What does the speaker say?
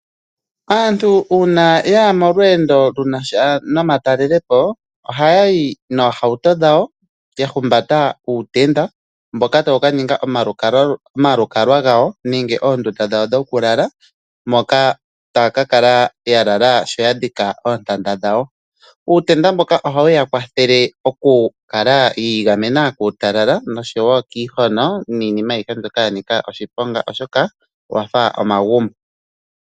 Aantu uuna yaya molweendo lunasha nomatalelo po, ohaya yi noohauto dhawo, ya humbata uutenda mboka tawu ka ninga omalukalwa gawo nenge oondunda dhawo dhoku lala, moka taya ka kala ya lala sho ya dhika oontanda dhawo. Uutenda mboka ohawu ya kwathele oku kala yi igamena kuutalala noshowo kiihono niinima ayihe mbyoka ya nika oshiponga, oshoka owa fa omagumbo.